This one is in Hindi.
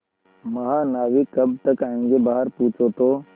महानाविक कब तक आयेंगे बाहर पूछो तो